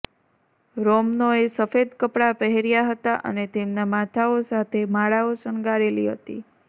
રોમનોએ સફેદ કપડાં પહેર્યા હતા અને તેમના માથાઓ સાથે માળાઓ શણગારેલી હતી